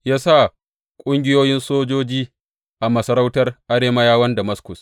Ya sa ƙungiyoyin sojoji a masarautar Arameyawan Damaskus.